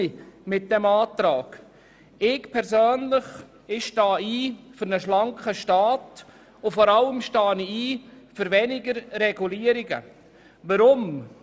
Ich stehe persönlich für einen schlanken Staat und vor allem für weniger Regulierungen ein.